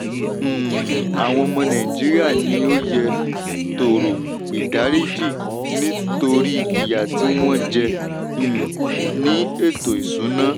um àwọn ọmọ nàìjíríà ni ó yẹ tọ̀rọ̀ ìdáríjì nítorí ìyà tí wọ́n jẹ um ní ètò ìsúná.